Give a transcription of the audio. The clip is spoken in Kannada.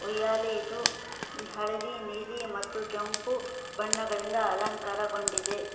ಉಯ್ಯಾಲೆ ಇದು ಹಳದಿ ನೀಲಿ ಮತ್ತು ಕೆಂಪು ಬಣ್ಣಗಳಿಂದ ಅಲಂಕಾರಗೊಂಡಿದೆ.